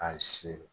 A siri